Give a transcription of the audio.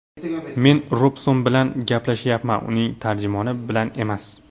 Men Robson bilan gaplashyapman, uning tarjimoni bilan emas!”.